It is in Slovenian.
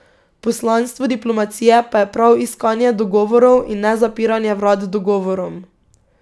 Poslanstvo diplomacije pa je prav iskanje dogovorov in ne zapiranje vrat dogovorom.